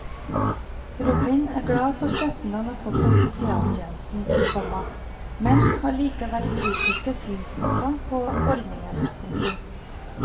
Robin er glad for støtten han har fått av sosialtjenesten, komma men har likevel kritiske synspunkter på ordningen. punktum